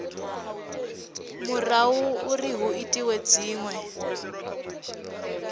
murahu uri hu itwe dzinwe